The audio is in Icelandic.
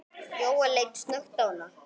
Jóel leit snöggt á hana.